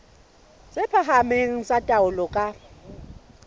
tse phahameng tsa taolo ka